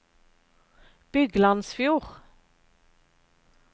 Byglandsfjord